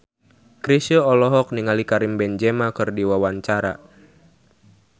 Chrisye olohok ningali Karim Benzema keur diwawancara